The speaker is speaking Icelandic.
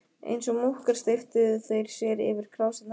Eins og múkkar steyptu þeir sér yfir krásirnar.